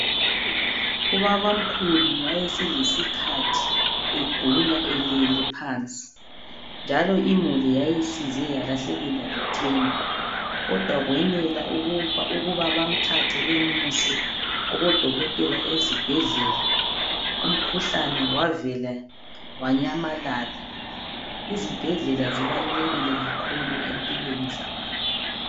Ubabamkhulu wayeselesikhathi egula elele phansi njalo imuli yayisize yalahlekelwa lithemba kodwa kwenela ukuba bamthathe bemuse kubodokotela ezibhedlela umkhuhlane wavele wanyamalala. Izibhedlela zibalulekile kakhulu empilweni zabantu.